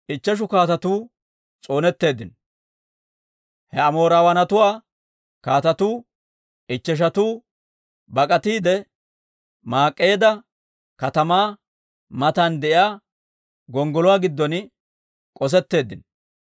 He Amoorawaanatuwaa kaatetuu ichcheshatuu bak'atiide, Maak'eeda katamaa matan de'iyaa gonggoluwaa giddon k'osetteeddinno.